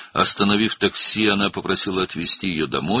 Taksini dayandıraraq, onu evə aparmağı xahiş etdi.